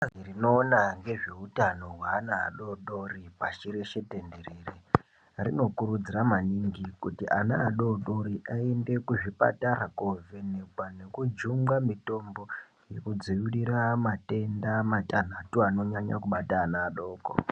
bazi rinoona ngezve utano hweana adodori pashi rise tenderere rinokurudzira mamingi kuti ana adodori aende kuzvipatara kovhenekwa nekujungwa mitombo yekudzivirira matenda matanhatu anonyanya bata ana adoko